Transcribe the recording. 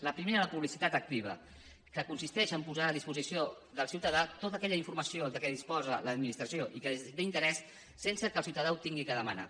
la primera la publicitat activa que consisteix a posar a disposició del ciutadà tota aquella informació de què disposa l’administració i que és d’interès sense que el ciutadà ho hagi de demanar